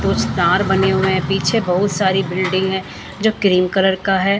दो स्टार बने हुए हैं पीछे बहुत सारी बिल्डिंग है जो क्रीम कलर का है।